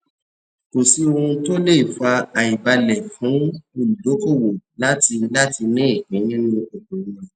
kò sí ohun tí o le fà àìbale fún olùdókòwò láti láti ní ìpín nínú okòwò rẹ